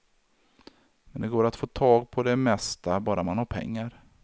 Men det går att få tag på det mesta bara man har pengar.